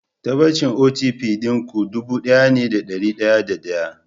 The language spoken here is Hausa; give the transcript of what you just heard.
Tabbacin OTP ɗin ku ɗubu ɗaya ne da ɗari da ɗaya